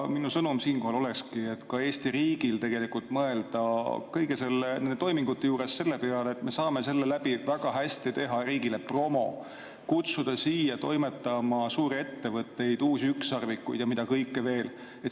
Minu sõnum siinkohal olekski, et ka Eesti riigil tuleks mõelda kõigi nende toimingute juures selle peale, et me saame sellega väga hästi teha riigile promot, kutsuda siia toimetama suuri ettevõtteid, uusi ükssarvikuid ja mida kõike veel.